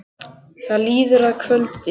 Það líður að kvöldi.